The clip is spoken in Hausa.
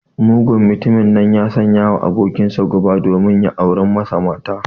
Mugun mtumin nan ya sanyawa abokinsa guba domin ya aure masa mata.